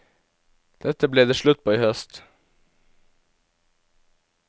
Dette ble det slutt på i høst.